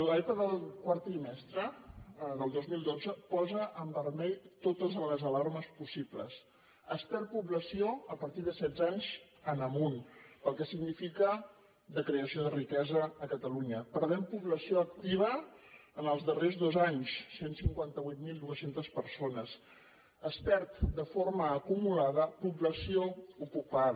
l’epa del quart trimestre del dos mil dotze posa en vermell totes les alarmes possibles es perd població a partir de setze anys en amunt amb el que significa de creació de riquesa a catalunya perdem població activa en els darrers dos anys cent i cinquanta vuit mil dos cents persones es perd de forma acumulada població ocupada